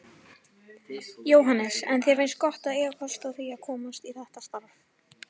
Jóhannes: En þér finnst gott að eiga kost á því að komast í þetta starf?